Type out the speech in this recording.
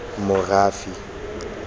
morafe